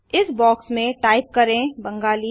इस बॉक्स में टाइप करें बेंगाली